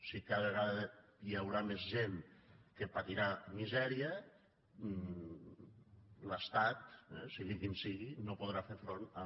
si cada vegada hi haurà més gent que patirà misèria l’estat sigui quin sigui no podrà fer front a